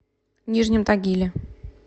нижнем тагиле